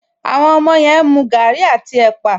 Àwọn ọmọ yẹn ń mu gaàrí àti ẹ̀pà